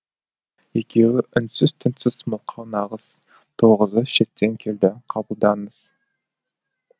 екеуі үнсіз түнсіз мылқау нағыз тоғызы шеттен келді қабылдаңыз